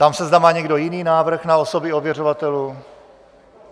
Ptám se, zda má někdo jiný návrh na osoby ověřovatelů.